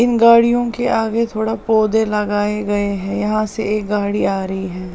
इन गाड़ियों के आगे थोड़ा पौधे लगाए गए हैं यहां से एक गाड़ी आ रही है।